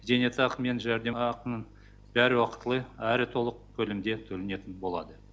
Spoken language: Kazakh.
зейнетақы мен жәрдемақының бәрі уақытылы әрі толық көлемде төленетін болады